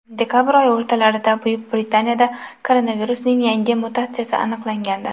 Dekabr oyi o‘rtalarida Buyuk Britaniyada koronavirusning yangi mutatsiyasi aniqlangandi .